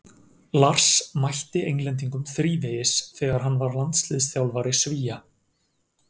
Lars mætti Englendingum þrívegis þegar hann var landsliðsþjálfari Svía.